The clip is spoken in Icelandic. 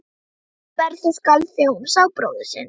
Rödd Berthu skalf þegar hún sá bróður sinn.